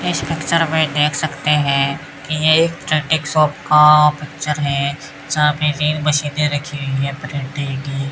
इस पिक्चर में देख सकते हैं कि ये एक शाप का पिक्चर है जहां पे तीन मशीनें रखी हैं प्रिंट की।